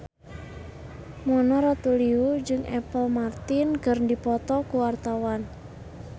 Mona Ratuliu jeung Apple Martin keur dipoto ku wartawan